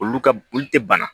Olu ka olu tɛ bana